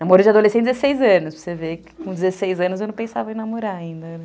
Namoro de adolescente, dezesseis anos, para você ver que com dezesseis anos eu não pensava em namorar ainda, né?